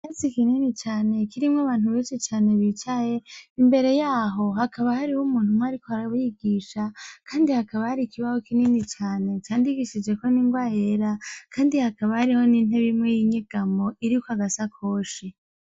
Ikirasi kinini cane kirimwo abantu benshi bicaye imbere yaho hakaba hariho umuntu umwe ariko arabigisha, kandi hakaba hariho ikibaho kinini cane kandi gisizweko n'inrwa yera kandi hakaba hariho n'intebe imwe y'inyegamo iriko agasakoshi.